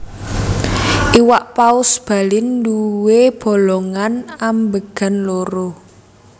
Iwak Paus Balin nduwé bolongan ambegan loro